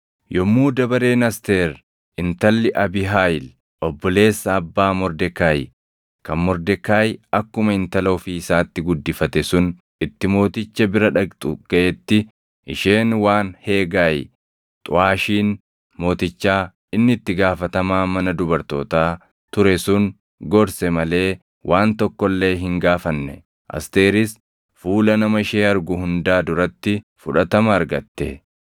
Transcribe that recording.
Yommuu dabareen Asteer intalli Abiihaayil obboleessa abbaa Mordekaayi kan Mordekaayi akkuma intala ofii isaatti guddifate sun itti mooticha bira dhaqxu gaʼetti isheen waan Heegaayi xuʼaashiin mootichaa inni itti gaafatamaa mana dubartootaa ture sun gorse malee waan tokko illee hin gaafanne. Asteeris fuula nama ishee argu hundaa duratti fudhatama argatte.